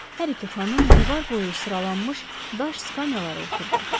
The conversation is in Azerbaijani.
Hər iki xanım divar boyu sıralanmış daş skamyalara oturdu.